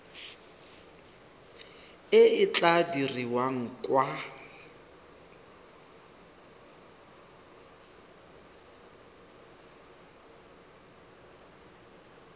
e e tla dirwang kwa